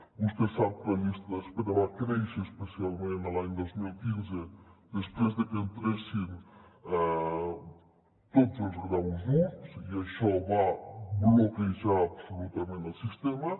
vostè sap que la llista d’espera va créixer especialment l’any dos mil quinze des·prés de que hi entressin tots els graus i i això va bloquejar absolutament el sistema